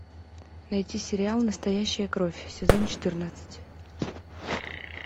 найти сериал настоящая кровь сезон четырнадцать